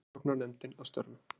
Rannsóknarnefndin að störfum.